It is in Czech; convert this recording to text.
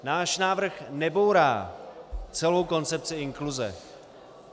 Náš návrh nebourá celou koncepci inkluze.